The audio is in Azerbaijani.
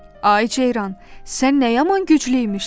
Ay ceyran, sən nə yaman güclüymüşsən?